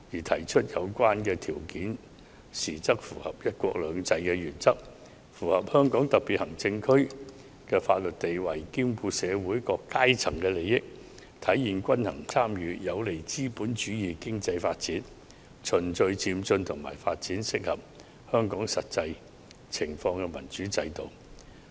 提出有關條件時，應符合"一國兩制"原則及香港特別行政區的法律地位、兼顧社會各階層的利益、體現均衡參與，以及有利資本主義經濟發展，循序漸進地發展適合香港實際情況的民主制度。